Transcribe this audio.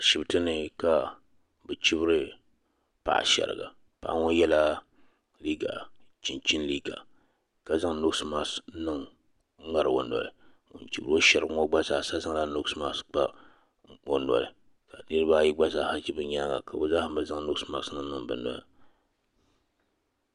Ashibiti ni ka bɛ chibiri paɣa shiriga paɣa ŋɔ yela liiga chinchini liiga ka zaŋ noosi masik n-ŋari o noli ŋun chibiri o shiriga ŋɔ gba zaa sa zaŋ la noosi masik kpa o noli ka niriba ayi gba zaa ha ʒi bɛ nyaaga ka bɛ zaa ha zaŋ noosi masik niŋ bɛ noli.